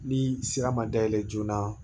Ni sira ma dayɛlɛ joona